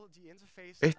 eitt